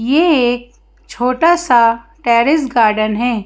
यह एक छोटा सा टेरेस गार्डन है।